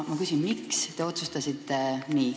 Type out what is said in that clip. Miks te nii otsustasite?